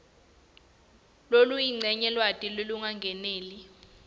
lokuyincenye lwati lolungakeneli